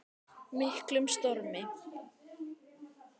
miklum stormi.